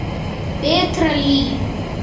Betra líf.